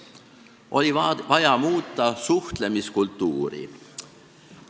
Oli vaja muuta suhtlemiskultuuri.